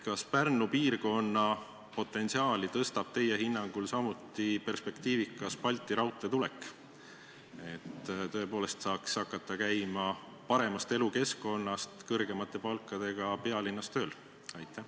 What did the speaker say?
Kas Pärnu piirkonna potentsiaali tõstab teie hinnangul samuti perspektiivikas Balti raudtee tulek, et tõepoolest saaks hakata paremast elukeskkonnast käima kõrgemate palkadega pealinnas tööl?